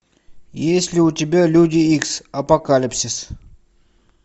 есть ли у тебя люди икс апокалипсис